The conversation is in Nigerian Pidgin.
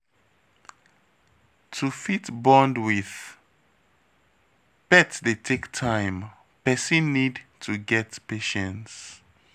To fit bond with pet dey take time, person need to get patience